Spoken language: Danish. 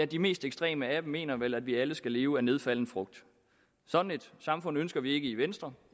de mest ekstreme af dem mener vel at vi alle skal leve af nedfalden frugt sådan et samfund ønsker vi ikke i venstre